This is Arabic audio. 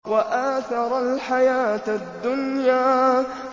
وَآثَرَ الْحَيَاةَ الدُّنْيَا